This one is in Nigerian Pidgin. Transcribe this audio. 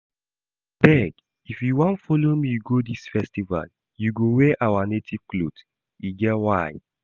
Abeg if you wan follow me go dis festival you go wear our native cloth, e get why